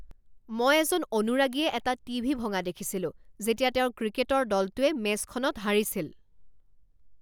মই এজন অনুৰাগীয়ে এটা টিভি ভঙা দেখিছিলো যেতিয়া তেওঁৰ ক্ৰিকেটৰ দলটোৱে মেচখনত হাৰিছিল।